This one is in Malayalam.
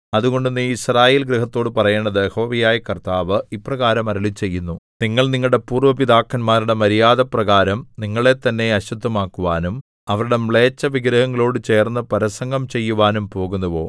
അതുകൊണ്ട് നീ യിസ്രായേൽ ഗൃഹത്തോട് പറയേണ്ടത് യഹോവയായ കർത്താവ് ഇപ്രകാരം അരുളിച്ചെയ്യുന്നു നിങ്ങൾ നിങ്ങളുടെ പൂര്‍വ്വ പിതാക്കന്മാരുടെ മര്യാദപ്രകാരം നിങ്ങളെത്തന്നെ അശുദ്ധമാക്കുവാനും അവരുടെ മ്ലേച്ഛവിഗ്രഹങ്ങളോടു ചേർന്ന് പരസംഗം ചെയ്യുവാനും പോകുന്നുവോ